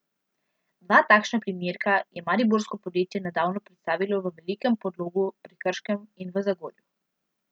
Dva takšna primerka je mariborsko podjetje nedavno predstavilo v Velikem Podlogu pri Krškem in v Zagorju.